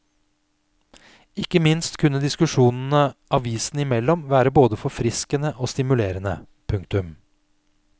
Ikke minst kunne diskusjonene avisene imellom være både forfriskende og stimulerende. punktum